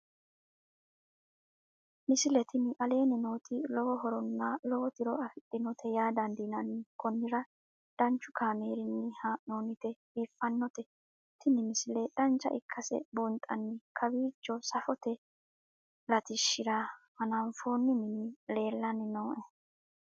misile tini aleenni nooti lowo horonna lowo tiro afidhinote yaa dandiinanni konnira danchu kaameerinni haa'noonnite biiffannote tini misile dancha ikkase buunxanni kowiicho safote latishshira hanafoonni mini leelanni nooe